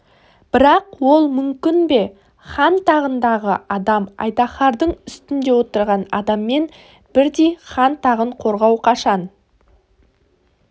бірақ ол мүмкін бе хан тағындағы адам айдаһардың үстінде отырған адаммен бірдей хан тағын қорғау қашан